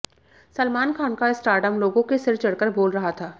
सलमान खान का स्टारडम लोगों के सिर चढ़कर बोल रहा था